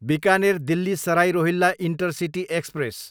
Bikaner, Delhi Sarai Rohilla intercity express